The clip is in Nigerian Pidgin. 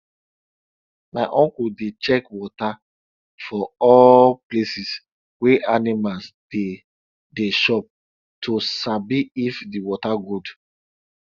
my uncle dey check water for all places wey animals dey dey chop to sabi if the water good